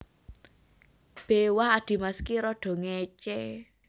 B Wah adhimas ki rada ngécé